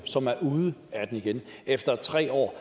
ude af den igen efter tre år